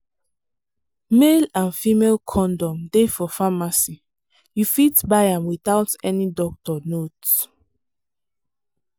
male and female condom dey for pharmacy you fit buy am without any doctor note.